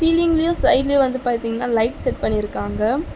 சீலிங்லியு சைடுலியு வந்து பாத்தீங்னா லைட் செட் பண்ணிருக்காங்க.